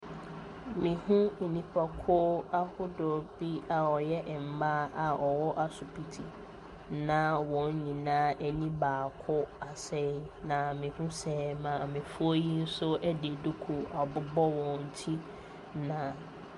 Mehu nnipakuo ahodoɔ bi a wɔyɛ mma a wɔwɔ asopiti nyinaa wɔn nyinaa ani baako asɛe. Na mihu sɛ maame de duku abobɔ wɔn ti na .